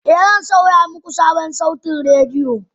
Ee, zan saya muku sabon saitin rediyo